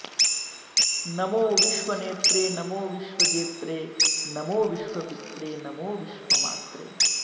नमो विश्वनेत्रे नमो विश्वजेत्रे नमो विश्वपित्रे नमो विश्वमात्रे